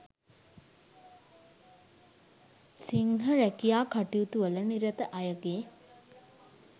සිංහ රැකියා කටයුතුවල නිරත අයගේ